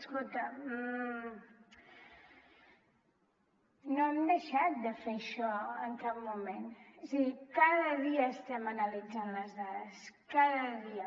escolta no hem deixat de fer això en cap moment és a dir cada dia estem analitzant les dades cada dia